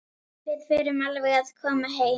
Við förum alveg að koma heim.